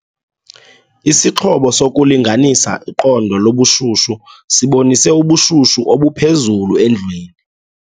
Isixhobo sokulinganisa iqondo lobushushu sibonise ubushushu obuphezulu endlwini.